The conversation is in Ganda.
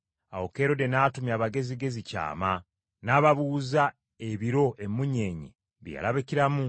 Awo Kerode n’atumya Abagezigezi kyama, n’ababuuza ebiro emmunyeenye bye yalabikiramu.